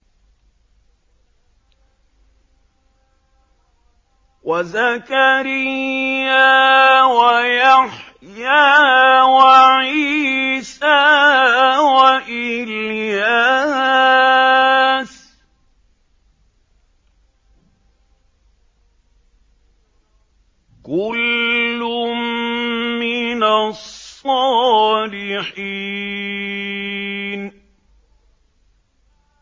وَزَكَرِيَّا وَيَحْيَىٰ وَعِيسَىٰ وَإِلْيَاسَ ۖ كُلٌّ مِّنَ الصَّالِحِينَ